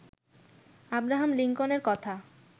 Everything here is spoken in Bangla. আব্রাহাম লিংকনের কথা